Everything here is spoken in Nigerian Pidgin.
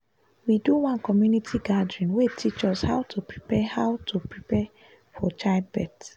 we do one community gathering wey teach us how to prepare how to prepare for childbirth